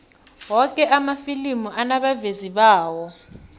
woke amafilimi anabavezi bawo